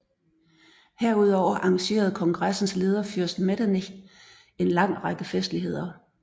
Herudover arrangerede kongressens leder fyrst Metternich en lang række festligheder